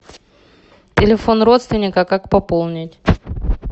телефон родственника как пополнить